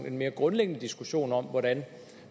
en mere grundlæggende diskussion om hvordan